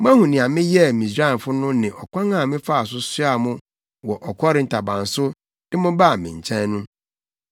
‘Moahu nea meyɛɛ Misraimfo no ne ɔkwan a mefaa so soaa mo wɔ ɔkɔre ntaban so de mo baa me nkyɛn no.